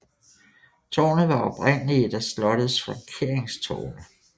Tårnet var oprindelig et af slottets flankeringstårne